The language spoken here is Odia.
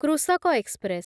କୃଷକ ଏକ୍ସପ୍ରେସ୍